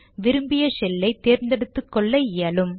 விரும்பிய ஷெல்லை தேர்ந்தெடுத்துக்கொள்ள இயலும்